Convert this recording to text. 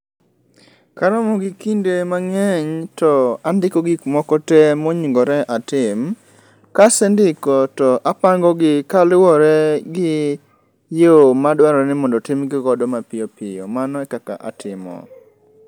Karomo gi kinde mang'eny to andiko gik moko te monengore atim. Kasendiko to apangogi kaluwore gi yo madwarore ni mondo timgigodo mapiyo piyo, mano e kaka atimo.